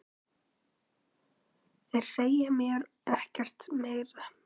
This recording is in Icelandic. Þeir segja mér ekkert meira.